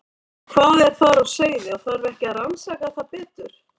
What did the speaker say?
Hvað er þar á seyði og þarf ekki að rannsaka það betur?